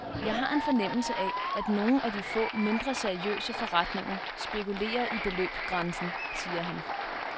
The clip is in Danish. Jeg har en fornemmelse af, at nogle af de få, mindre seriøse forretninger spekulerer i beløbsgrænsen, siger han.